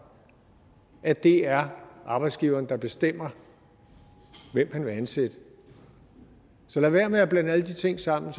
at det er arbejdsgiveren der bestemmer hvem han vil ansætte så lad være med at blande alle de ting sammen